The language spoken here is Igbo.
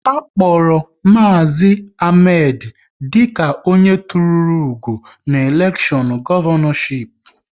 A kpọrọ Maazi Ahmed dịka onye tụrụ ugo n'elekshọn Gọvanọship